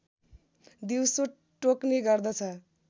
दिउँसो टोक्ने गर्दछ